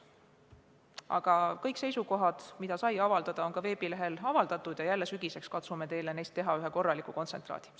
Igal juhul, kõik seisukohad, mida sai avaldada, on veebilehel avaldatud ja sügiseks katsume teile teha neist ühe korraliku kontsentraadi.